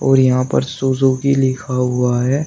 और यहां पर सुजुकी लिखा हुआ है।